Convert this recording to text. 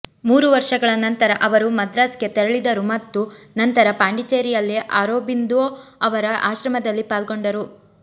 ಮೂರು ವರ್ಷಗಳ ನಂತರ ಅವರು ಮದ್ರಾಸ್ ಗೆ ತೆರಳಿದರು ಮತ್ತು ನಂತರ ಪಾಂಡಿಚೆರಿಯಲ್ಲಿ ಅರೋಬಿಂದೋ ಅವರ ಆಶ್ರಮದಲ್ಲಿ ಪಾಲ್ಗೊಂಡರು